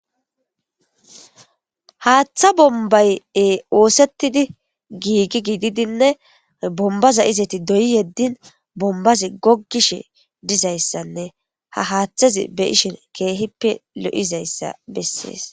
haaththa bombay7e oosettidi giigi gididinne bombaza izeti doyi yeddin bombazi goggishe dizayssanne ha haaththezi be ishin keehippe lo7izayssa bessees